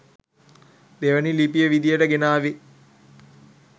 දෙවනි ලිපිය විදියට ගෙනාවේ